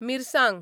मिरसांग